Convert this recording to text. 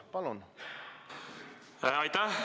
Palun!